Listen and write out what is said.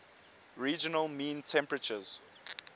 regional mean temperaturess